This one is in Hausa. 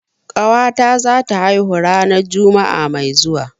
Ƙawata zata haihu ranar juma'a mai zuwa.